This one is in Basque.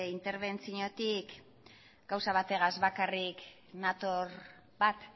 interbentziotik gauza bategaz bakarrik nator bat